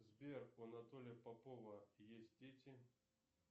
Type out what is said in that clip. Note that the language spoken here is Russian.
сбер у анатолия попова есть дети